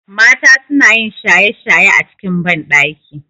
Mata sunayin shaye shaye a cikin banɗaki